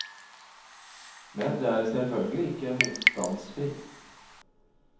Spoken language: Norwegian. Men det er selvfølgelig ikke motstandsfritt.